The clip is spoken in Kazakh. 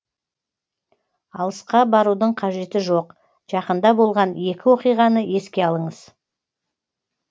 алысқа барудың қажеті жоқ жақында болған екі оқиғаны еске алыңыз